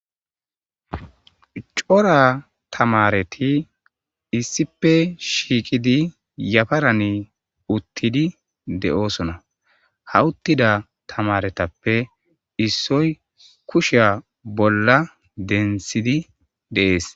Cora tamareti issipe shiiqidi yafarani uttidi de'oosona hawuttida tamaretappe issoy kusheya bolla densidi deees.